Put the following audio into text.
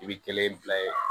I bi kelen bila yen